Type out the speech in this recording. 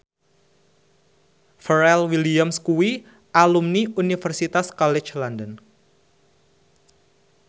Pharrell Williams kuwi alumni Universitas College London